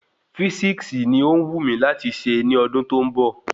Físíksì ni ọ wù mí láti ṣe ní ọdún tó ń bọ̀